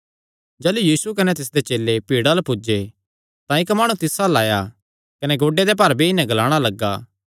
जाह़लू यीशु कने तिसदे चेले भीड़ा अल्ल पुज्जे तां इक्क माणु तिस अल्ल आया कने गोड्डेयां दे भार बेई नैं ग्लाणा लग्गा